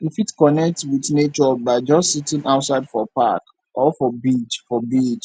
we fit connect with nature by just sitting outside for park or for beach for beach